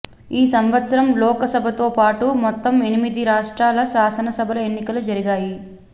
ఈ సంవత్సరం లోకసభతోపాటు మొత్తం ఎన్నిమిది రాష్ట్రాల శాసనసభల ఎన్నికలు జరిగాయి